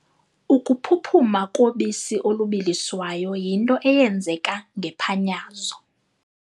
Ukuphuphuma kobisi olubiliswayo yinto eyenzeka ngephanyazo.